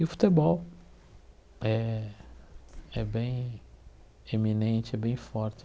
E o futebol é bem eminente, é bem forte.